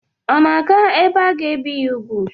Ọ na-aga ebe aga-ebi ya úgwù?